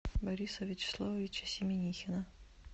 бориса вячеславовича семенихина